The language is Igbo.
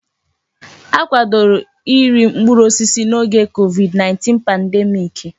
Akwadoro iri mkpụrụ osisi n'oge COVID-19 pandemiiki.